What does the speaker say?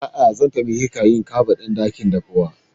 A'a, zan taimaka ƙa ɗa yin kabaɗin dakin daffuwan.